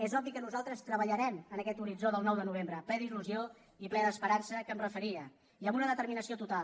és obvi que nosaltres treballarem en aquest horitzó del nou de novembre ple d’il·lusió i ple d’esperança a què em referia i amb una determinació total